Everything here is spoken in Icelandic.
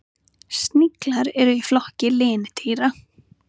Sniglar eru í flokki lindýra.